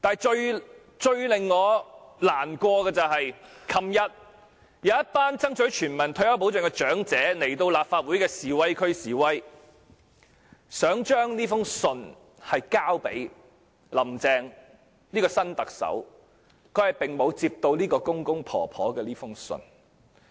最令我感到難過的是，昨天有一群爭取全民退休保障的長者來到立法會的示威區示威，希望把信件交給新特首，但她沒有接過公公婆婆的這封信。